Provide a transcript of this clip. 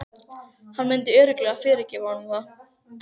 Hann myndi örugglega fyrirgefa honum það.